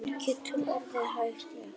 Hún getur orðið hættuleg.